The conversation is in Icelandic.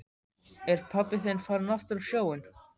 Er pabbi þinn farinn aftur á sjóinn?